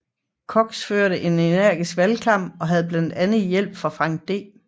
Cox førte en energisk valgkamp og havde blandt andet hjælp af Franklin D